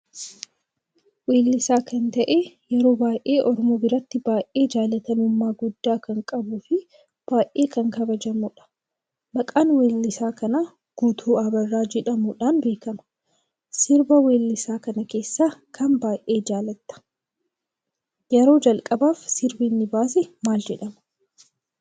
Wellisa kan ta'ee yeroo baay'ee oromoo biratti baay'ee jaallatamumma gudda kan qabuu fi baay'ee kan kabajamudha. Maqaan wellisa kana Guutuu Abarraa jedhamuudhan beekama. sirba wellisa kana keessa kamiin baay'ee jaallatta? Yeroo jalqabaaf sirbanni baasee maal jedhama?